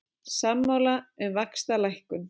Sammála um vaxtalækkun